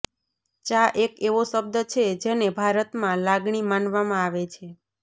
ચા એક એવો શબ્દ છે જેને ભારતમાં લાગણી માનવામાં આવે છે